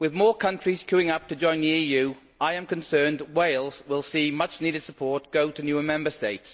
With more countries queuing up to join the EU, I am concerned Wales will see much needed support go to newer Member States.